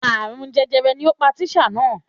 Àrùn jejere ni ó pa tísà náà